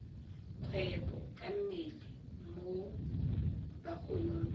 kgwebo ka mmele mo bagolong